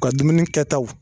U Ka dumuni kɛtaw